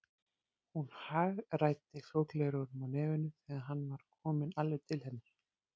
Hún hagræddi sólgleraugunum á nefinu þegar hann var kominn alveg til hennar.